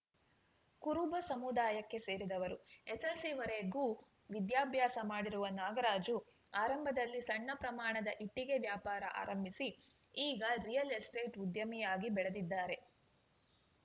ಕುರುಬ ಸಮುದಾಯಕ್ಕೆ ಸೇರಿದವರು ಎಸ್‌ಎಸ್‌ಎಲ್‌ಸಿವರೆಗೂ ವಿದ್ಯಾಭ್ಯಾಸ ಮಾಡಿರುವ ನಾಗರಾಜು ಆರಂಭದಲ್ಲಿ ಸಣ್ಣ ಪ್ರಮಾಣದ ಇಟ್ಟಿಗೆ ವ್ಯಾಪಾರ ಆರಂಭಿಸಿ ಈಗ ರಿಯಲ್‌ ಎಸ್ಟೇಟ್‌ ಉದ್ಯಮಿಯಾಗಿ ಬೆಳೆದಿದ್ದಾರೆ